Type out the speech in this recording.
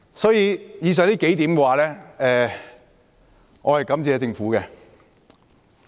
所以，就以上數點來說，我是感謝政府的。